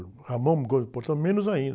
O, menos ainda.